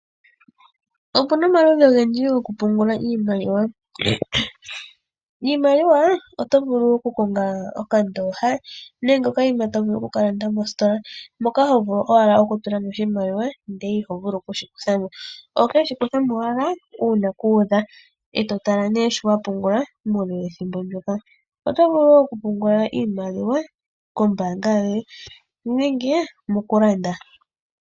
Opuna omaludhi ogendji go kupungula iimaliwa .Iimaliwa oto vulu okukonga okandooha nenge okayima tovulu oku kalanda mositola moka hovulu owala okutula oshimaliwa ndele iho vulu okushikuthamo oho keshi kuthamo owala uuna ku udha eto tala nee sho wapungula muule wethimbo ndjoka Iimaliwa . Otovulu woo okupungula iimaliwa kombaanga yoye nenge woo mokulanda